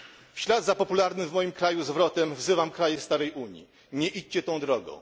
W ślad za popularnym w moim kraju zwrotem wzywam kraje starej Unii nie idźcie tą drogą!